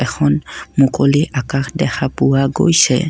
এখন মুকলি আকাশ দেখা পোৱা গৈছে।